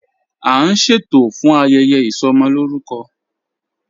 A n ṣẹtò fún ayẹyẹ isọmọlórùkọ.